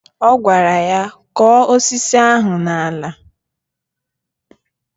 Ọ gwara ya " Kọ̀ọ́ osisi ahụ n'ala"